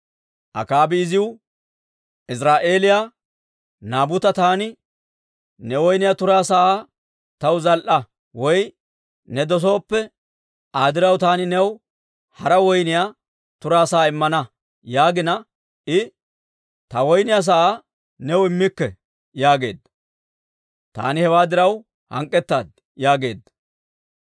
Akaabi iziw, «Iziraa'eeliyaa Naabuta taani, ‹Ne woyniyaa turaa sa'aa taw zal"a; woy ne dosooppe, Aa diraw taani new hara woyniyaa turaa sa'aa immana› yaagina, I, ‹Ta woyniyaa sa'aa new immikke› yaageedda. Taani hewaa diraw hank'k'etaad» yaageedda.